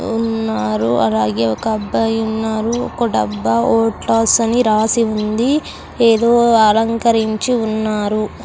ఉన్నారు అలాగే ఒక అబ్బాయి ఉన్నారు ఒక డబ్బా వోల్టాస్ అని రాసి ఉంది ఏదో అలంకరించి ఉన్నారు.